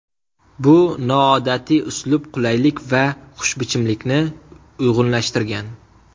Bu noodatiy uslub qulaylik va xushbichimlikni uyg‘unlashtirgan.